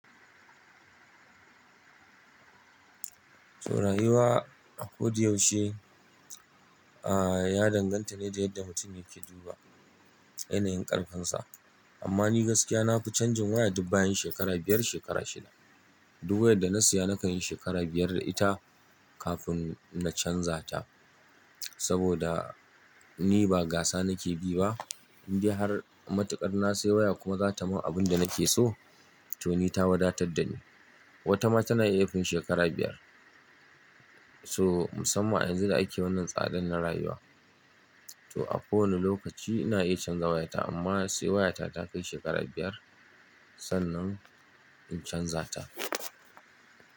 To rayuwa a ko da yaushe, a ya danganta ne da yadda mutum yake duba yanayin ƙarfinsa. Amma ni gaskiya nafi canjin waya duk bayan shekara biyar, shekara shida. Duk wayar da na siya na kan yi shekara biyar da ita kafin na canza ta. Saboda ni ba gasa na ke bi ba, in bi har matuƙar na sayi waya kuma za ta ma abin da na ke so, to ni ta wadatar da ni. Wata ma tana iya fin shekara biyar. So musamman yanzu da a ke wannan tsadan na rayuwa. To a ko wani lokaci ina iya canza wayata amma sai wayata ta kai shekara biyar sannan in canza ta.